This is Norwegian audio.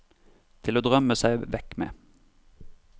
Til å drømme seg vekk med.